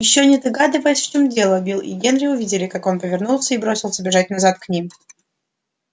ещё не догадываясь в чём дело билл и генри увидели как он повернулся и бросился бежать назад к ним